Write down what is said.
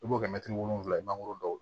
I b'o kɛ mɛtiri wolonwula mangoro dɔw